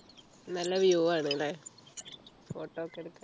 നല്ല view ആണ് അല്ലെ photo ഒക്കെ എടുക്കാൻ